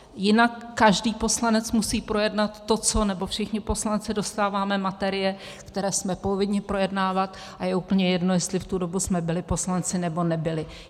Jinak, každý poslanec musí projednat to, co - nebo všichni poslanci dostáváme materie, které jsme povinni projednávat, a je úplně jedno, jestli v tu dobu jsme byli poslanci, nebo nebyli.